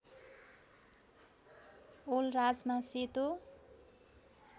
ओल राजमा सेतो